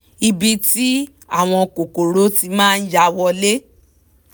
ibi tí àwọn kòkòrò ti máa ya wọlé